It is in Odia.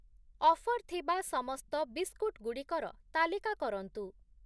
ଅଫର୍ ଥିବା ସମସ୍ତ ବିସ୍କୁଟ୍‌ ଗୁଡ଼ିକର ତାଲିକା କରନ୍ତୁ ।